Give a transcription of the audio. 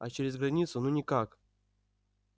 а через границу ну никак